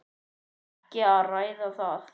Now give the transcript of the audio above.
Ekki að ræða það!